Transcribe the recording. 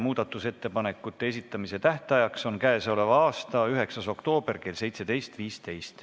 Muudatusettepanekute esitamise tähtaeg on k.a 9. oktoober kell 17.15.